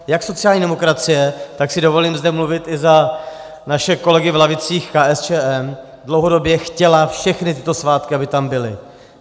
Jak sociální demokracie, tak si dovolím zde mluvit i za naše kolegy v lavicích KSČM, dlouhodobě chtěla všechny tyto svátky, aby tam byly.